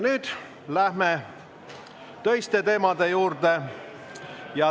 Nüüd läheme töiste teemade juurde.